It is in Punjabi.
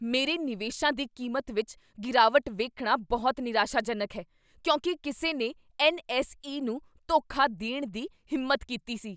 ਮੇਰੇ ਨਿਵੇਸ਼ਾਂ ਦੀ ਕੀਮਤ ਵਿੱਚ ਗਿਰਾਵਟ ਵੇਖਣਾ ਬਹੁਤ ਨਿਰਾਸ਼ਾਜਨਕ ਹੈ ਕਿਉਂਕਿ ਕਿਸੇ ਨੇ ਐੱਨ.ਐੱਸ.ਈ. ਨੂੰ ਧੋਖਾ ਦੇਣ ਦੀ ਹਿੰਮਤ ਕੀਤੀ ਸੀ।